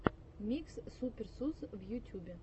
микс супер сус в ютюбе